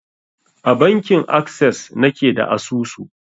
A bankin akses na ke da asusu.